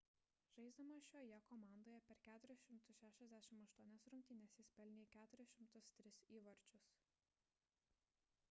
žaisdamas šioje komandoje per 468 rungtynes jis pelnė 403 įvarčius